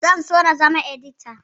Zan so na zama edita